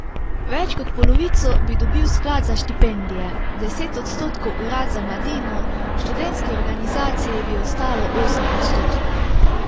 Več kot polovico bi dobil sklad za štipendije, deset odstotkov urad za mladino, študentski organizaciji bi ostalo osem odstotkov.